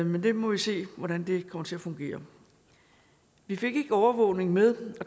men vi må se hvordan det kommer til at fungere vi fik ikke overvågning med